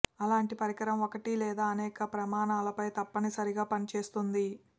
అలాంటి పరికరం ఒకటి లేదా అనేక ప్రమాణాలపై తప్పనిసరిగా పనిచేస్తుంది